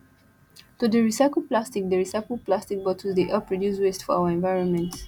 to dey recycle plastic dey recycle plastic bottles dey help reduce waste for our environment